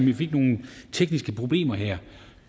vi fik nogle tekniske problemer her